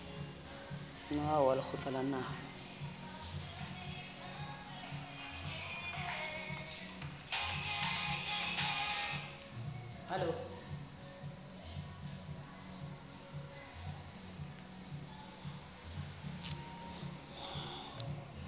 moaho wa lekgotla la naha